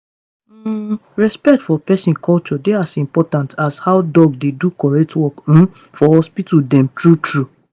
hmmm respect for peson culture dey as important as how doc dey do correct work um for hospital dem true true.